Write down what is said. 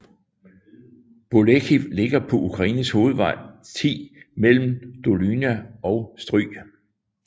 Bolekhiv ligger på Ukraines hovedvej 10 mellem Dolyna og Stryj